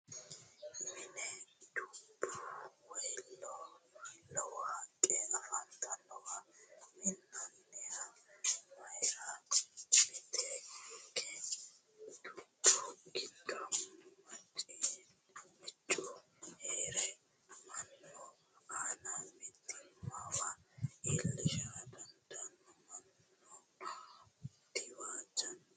Mine dubbu woyi lowo haqqe afantannowa minnanihu mayiirati? Miteekke dubbu giddo moiichu heere mannu aana mitiimmawa iillishara didandaanno? Mannuno diwaajjano?